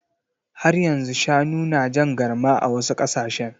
Har yanzu shanu na jan garma a wasu ƙasashe.